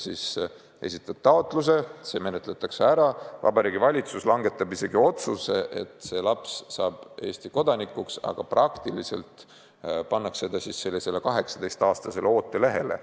Sa esitad taotluse, see menetletakse ära, Vabariigi Valitsus langetab otsuse, et see laps saab Eesti kodanikuks, aga praktiliselt pannakse ta kuni 18-aastaseks saamiseni ootelehele.